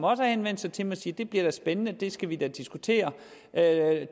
også henvendt sig til mig sige det bliver spændende det skal vi da diskutere